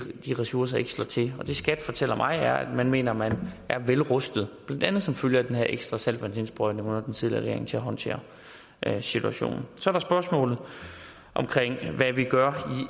ressourcer ikke slår til det skat fortæller mig er at man mener man er vel rustet blandt andet som følge af den her ekstra saltvandsindsprøjtning under den tidligere regering til at håndtere situationen så er der spørgsmålet om hvad vi gør